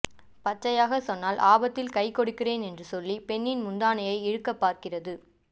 பச்சையாக சொன்னால் ஆபத்தில் கைகொடுக்கிறேன் என்று சொல்லி பெண்ணின் முந்தானையை இழுக்கப்பார்க்கிறது